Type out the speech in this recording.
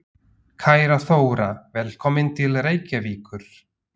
Kæra Þóra. Velkomin til Reykjavíkur.